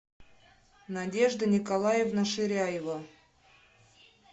надежда николаевна ширяева